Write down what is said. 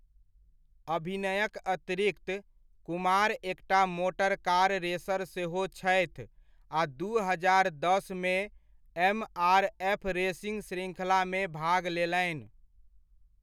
अभिनयक अतिरिक्त, कुमार एकटा मोटर कार रेसर सेहो छथि आ दू हजार दसमे एमआरएफ रेसिंग श्रृङ्खलामे भाग लेलनि।